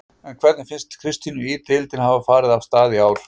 En hvernig finnst Kristínu Ýr deildin hafa farið af stað í ár?